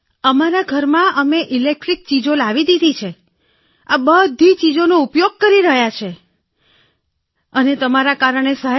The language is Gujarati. અમારા ઘરમાં અમે ઇલેક્ટ્રિક બધી ચીજો ઘરમાં લાવી દીધી છે બધી ચીજોનો ઉપયોગ કરી રહ્યા છીએ તમારા કારણે સાહેબ